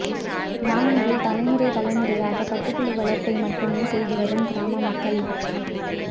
மியான்மாரில் தலைமுறை தலைமுறையாக பட்டுப்புழு வளர்ப்பை மட்டுமே செய்துவரும் கிராம மக்கள்